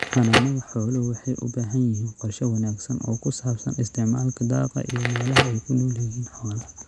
Xanaanada xooluhu waxay u baahan yihiin qorshe wanaagsan oo ku saabsan isticmaalka daaqa iyo meelaha ay ku nool yihiin xoolaha.